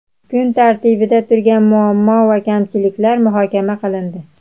kun tartibida turgan muammo va kamchiliklar muhokama qilindi.